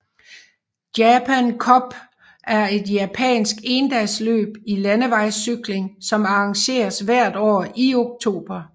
Japan Cup er et japansk endagsløb i landevejscykling som arrangeres hvert år i oktober